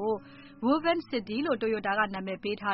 ို Woven City လို့ Toyota ကနာမည်ပေးထာ